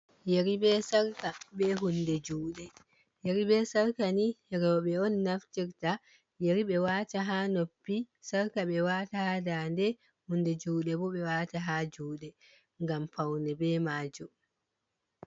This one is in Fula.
Yeri be sarka be kuje jungo, Yeri be sarka ni roɓe on naftirta yeri be wata ha noppi sarka be wata ha dande hunde jude bo be wata ha jude gam faune be majum.